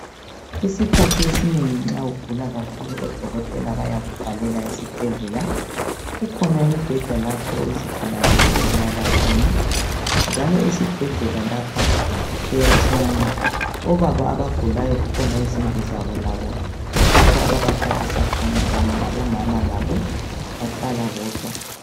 Isikhathi esinengi nxa ugula kakhulu odokotela bayakuvalela esibhedlela kukhona imbheda lapha izigulane ezilala khona njalo esibhedlela lapha kuyatshiyana, obaba kukhona izindlu lapho abahlala khona labomama labo bahlala bodwa.